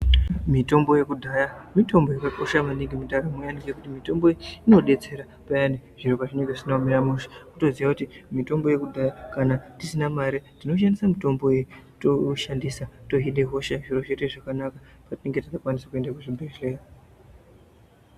Mitombo yekudhaya mitombo yakakosha maningi mundaramo ngekuti mitombo iyi inodetsera payani zviro pazvinenge zvisina kumira mushe. Kutoziya kuti mitombo yekudhaya kana tisina mare tinoshandisa mitombo iyi kama tashandisa tohina hosha zviro zvoite zvakanaka patinenge tisingakwanisi kuenda kuzvibhehleya.